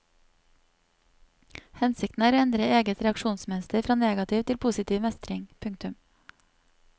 Hensikten er å endre eget reaksjonsmønster fra negativ til positiv mestring. punktum